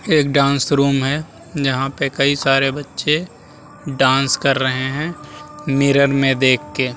एक dance room है जहाँ पे कई सारे बच्चे डांस कर रहे हैं मिरर में देख के |